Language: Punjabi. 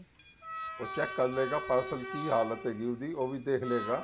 ਉਹ check ਕਰ ਲਵੇਗਾ parcel ਕੀ ਹਾਲਤ ਹੈਗੀ ਉਸਦੀ ਉਹ ਵੀ ਦੇਖ ਲਵੇਗਾ